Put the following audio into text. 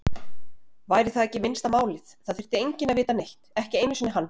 Væri það ekki minnsta málið, það þyrfti enginn að vita neitt, ekki einu sinni hann.